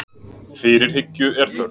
Fyrirhyggju er þörf